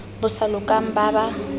bo sa lokang ba ba